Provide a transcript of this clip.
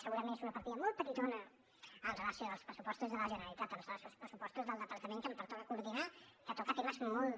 segurament és una partida molt petitona amb relació als pressupostos de la generalitat amb relació als pressupostos del departament que em pertoca coordinar que toca temes molt